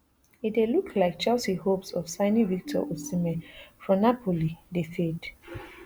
e dey look like chelsea hopes of signing victor osimhen from napoli dey fade